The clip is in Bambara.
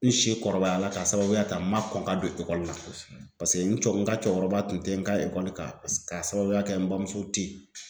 N si kɔrɔbaya la ka sababuya ta n ma kɔn ka don ekɔli la paseke n ka cɛkɔrɔba kun tɛ n ka ekɔli kalan ka sababuya kɛ n bamuso te yen.